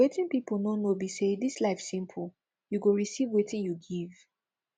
wetin people no know be say dis life simple you go receive wetin you give